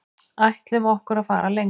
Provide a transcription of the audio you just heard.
Ætlum okkur að fara lengra